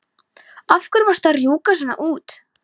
Af hverju varstu að rjúka svona út?